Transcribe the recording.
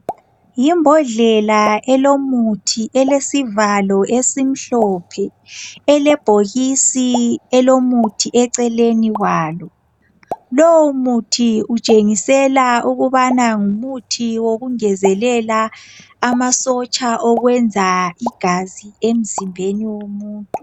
Yimbodlela elomuthi elesivalo esimhlophe , elebhokisisni elomuthi eceleni kwalo. Lowomuthi utshengisela ukubana ngumuthi wokungezelela amasotsha okwenza igazi emzimbeni womuntu.